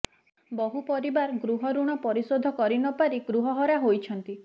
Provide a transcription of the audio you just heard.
ବହୁ ପରିବାର ଗୃହଋଣ ପରିଶୋଧ କରି ନପାରି ଗୃହହରା ହୋଇଛନ୍ତି